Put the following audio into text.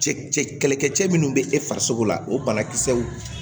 Cɛ cɛ kɛlɛkɛ cɛ minnu bɛ e farisogo la o banakisɛw